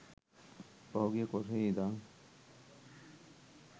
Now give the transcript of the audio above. පහුගිය කොටහේ ඉදන්.